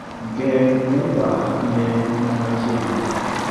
geng' uber ne man machiegni